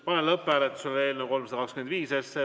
Panen lõpphääletusele eelnõu 325.